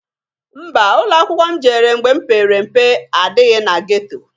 Mba! Ụlọakwụkwọ m jere mgbe m pere mpe adịghị na geto.